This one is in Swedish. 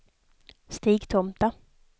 Stigtomta